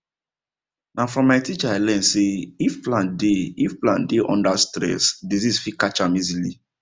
na from my teacher i learn say if plant dey if plant dey under stress disease fit catch am easily